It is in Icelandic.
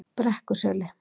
Brekkuseli